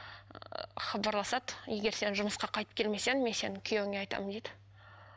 хабарласады егер сен жұмысқа қайтып келмесең мен сенің күйеуіңе айтамын дейді